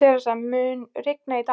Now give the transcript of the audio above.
Theresa, mun rigna í dag?